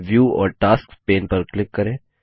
view और tasks pane पर click करें